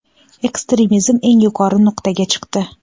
ekstremizm eng yuqori nuqtaga chiqdi.